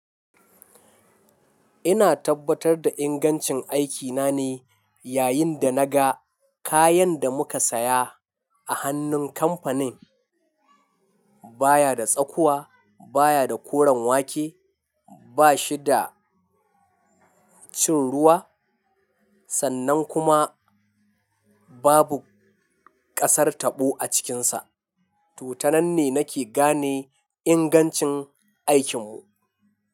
Ina tabbatar da ingancin aikina ne, yayin da naga kayan da muka saya a hannun kamfanin baya da tsakuwa, baya da koren wake, ba shi da cin ruwa sannan kuma babu ƙasar taɓo a cikinsa. Toh, ta nanne nake gane ingancin aikinmu.